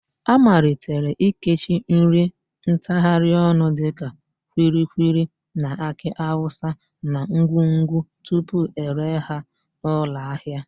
A malitere ikechi nri ntagharịọnụ dịka kwilikwili na akị awụsa na ngwungwu tupu ere ha n'ụlọahịa.